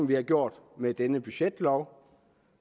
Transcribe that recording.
vi har gjort med denne budgetlov